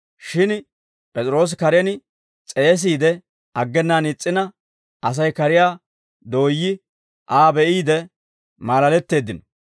Shin P'es'iroosi karen s'eesiide aggenaan is's'ina, Asay kariyaa dooyyi, Aa be'iide maalaletteeddino.